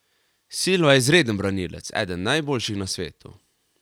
Silva je izreden branilec, eden najboljših na svetu.